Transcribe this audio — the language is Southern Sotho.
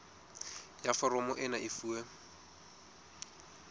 ya foromo ena e fuwe